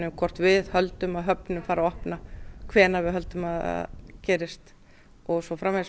hvort við höldum að höfnin fari að opna hvenær við höldum að það gerist og svo framvegis